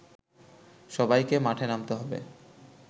সবাইকে মাঠে নামতে হবে